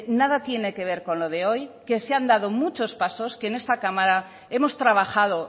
nada tiene que ver con lo de hoy que se han dado muchos pasos que en esta cámara hemos trabajado